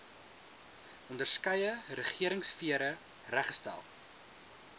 onderskeie regeringsfere reggestel